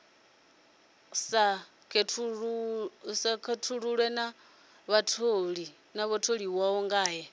sa khethulula na vhatholiwa ngae